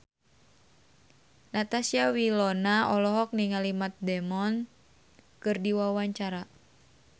Natasha Wilona olohok ningali Matt Damon keur diwawancara